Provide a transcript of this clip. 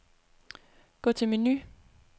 Gå til menu.